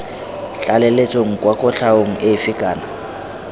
tlaleletsong kwa kotlhaong efe kana